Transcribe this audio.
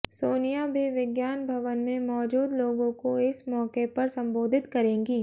सोनिया भी विज्ञान भवन में मौजूद लोगों को इस मौके पर संबोधित करेंगी